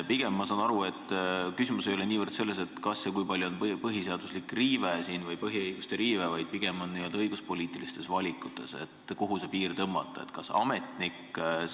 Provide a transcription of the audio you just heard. Ma saan aru, et küsimus ei ole niivõrd selles, kas ja kui palju on siin põhiseaduslikku riivet või põhiõiguste riivet, vaid pigem on küsimus n-ö õiguspoliitilistes valikutes, kuhu see piir tõmmata.